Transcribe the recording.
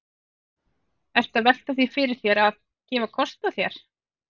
Ertu að velta því fyrir þér að, að gefa kost á þér?